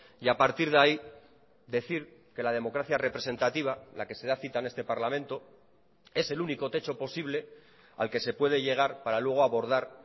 y a partir de ahí decir que la democracia representativa la que se da cita en este parlamento es el único techo posible al que se puede llegar para luego abordar